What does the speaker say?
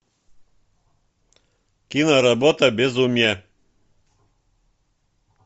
киноработа безумие